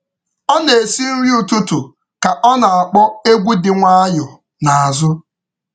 Ọ na-esi nri ụtụtụ ka ọ na-akpọ egwu dị nwayọọ n’azụ.